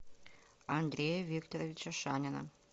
андрея викторовича шанина